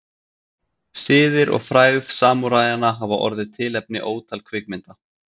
Siðir og frægð samúræjanna hafa orðið tilefni ótal kvikmynda.